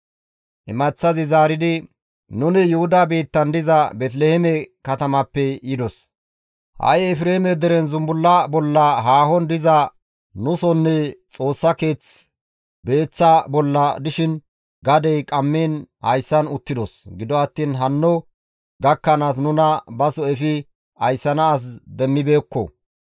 Imaththazi zaaridi, «Nuni Yuhuda biittan diza Beeteliheeme katamappe yidos. Ha7i Efreeme deren zumbulla bolla haahon diza nusonne Xoossa keeth beeththa bolla dishin gadey qammiin hayssan uttidos; gido attiin hanno gakkanaas nuna baso efi ayssana as demmibeekko.